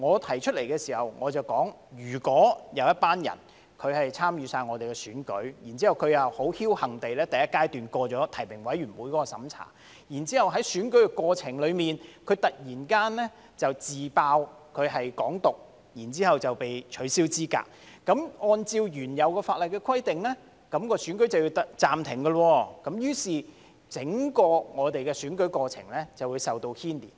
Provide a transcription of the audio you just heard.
當時我提到，如果有一群人參與選舉，而他又僥幸地在第一階段通過提名委員的審查，然後在選舉過程中，他突然"自爆"是"港獨"，繼而被取消資格，按照原有法例的規定，選舉便要暫停，於是整個選舉過程便會受到牽連。